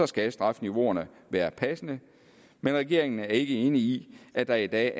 skal strafniveauerne være passende men regeringen er ikke enig i at der i dag